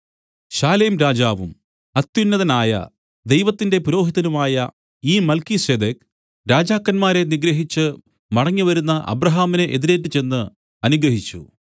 ശാലേം രാജാവും അത്യുന്നതനായ ദൈവത്തിന്റെ പുരോഹിതനുമായ ഈ മൽക്കീസേദെക്ക് രാജാക്കന്മാരെ നിഗ്രഹിച്ച് മടങ്ങിവരുന്ന അബ്രാഹാമിനെ എതിരേറ്റുചെന്ന് അനുഗ്രഹിച്ചു